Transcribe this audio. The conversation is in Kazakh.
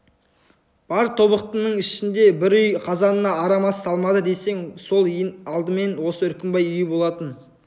бар тобықтының ішінде бір үй қазанына арам ас салмады десе сол ең алдымен осы үркімбай үйі болатын